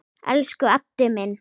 Elsku Addi minn.